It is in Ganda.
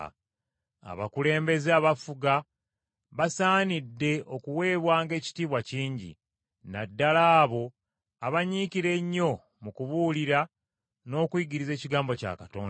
Abakulembeze abafuga basaanidde okuweebwanga ekitiibwa kingi, na ddala abo abanyiikira ennyo mu kubuulira n’okuyigiriza ekigambo kya Katonda.